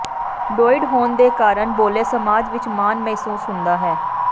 ਡੌਇਡ ਹੋਣ ਦੇ ਕਾਰਨ ਬੋਲ਼ੇ ਸਮਾਜ ਵਿੱਚ ਮਾਣ ਮਹਿਸੂਸ ਹੁੰਦਾ ਹੈ